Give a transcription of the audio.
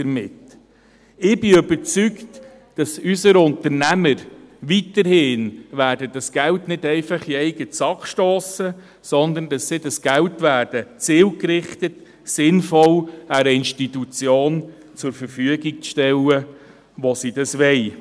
Ich bin davon überzeugt, dass unsere Unternehmer dieses Geld weiterhin nicht einfach in die eigene Tasche stecken werden, sondern dass sie dieses Geld zielgerichtet und sinnvoll einer Institution zur Verfügung stellen, die sie wollen.